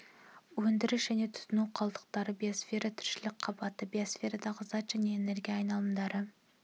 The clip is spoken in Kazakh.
өндіріс және тұтыну қалдықтары биосфера тіршілік қабаты биосферадағы зат және энергия айналымдары